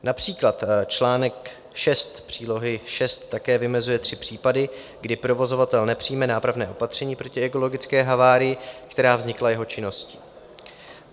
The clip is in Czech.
Například článek 6 přílohy VI také vymezuje tři případy, kdy provozovatel nepřijme nápravné opatření proti ekologické havárii, která vznikla jeho činností.